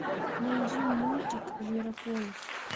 найди мультик зверополис